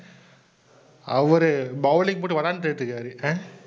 அவரு bowling போட்டு விளையாண்டிட்டிருக்காரு ஆஹ்